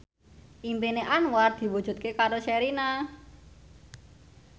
impine Anwar diwujudke karo Sherina